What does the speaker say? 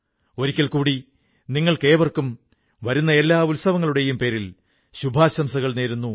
ഒരിക്കൽ കൂടി നിങ്ങൾക്കേവർക്കും വരുന്ന എല്ലാ ഉത്സവങ്ങളുടെയും പേരിൽ ശുഭാശംസകൾ നേരുന്നു